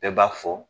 Bɛɛ b'a fɔ